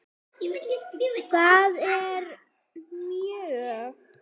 Settur réttur, það er lög.